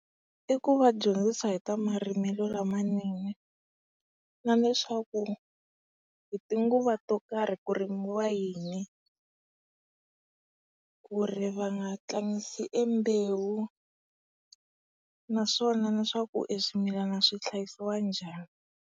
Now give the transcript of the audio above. I ku va dyondzisa hi ta marimelo lamanene, na leswaku hi tinguva to karhi kurimiwa yini. Kuri va nga tlangisi e mbewu, naswona na swaku e swimilana swi hlayisiwa njhani.